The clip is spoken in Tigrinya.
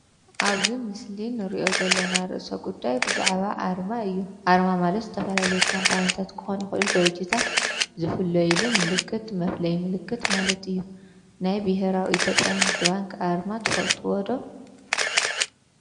ኣብዚ ምስሊ እንርእዮ ዘለና ርእሰ ጉዳይ ብዛዕባ ኣርማ እዩ። ኣርማ ማለት ዝተፈላለዩ ካምፓኒታት ክኾኑ ይክእሉ ድርጅትታት ዝፍለይሉ ምልክት መፍለዪ ምልክት ማለት እዩ። ናይ ብሄራዊ ኢትዮጵያ ንግድ ባንክ ኣርማ ትፈልጥዎ ዶ?